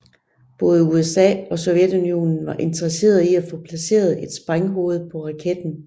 Både USA og Sovjetunionen var interesseret i at få placeret et sprænghoved på raketten